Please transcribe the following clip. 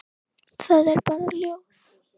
Það er bara ljóð.